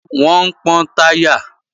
Wọ́n ń pọ́n táyà